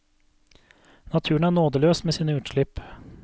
Naturen er nådeløs med sine utslipp.